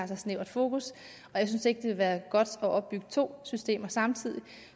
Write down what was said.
så snævert fokus og jeg synes ikke ville være godt at opbygge to systemer samtidig